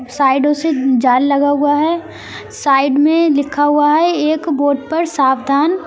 साइडो से जाल लगा हुआ है साइड में लिखा हुआ है एक बोर्ड पर सावधान--